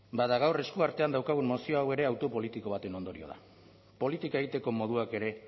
bada gaur esku artean daukagun mozio hau ere hautu politiko baten ondorio da politika egiteko moduak ere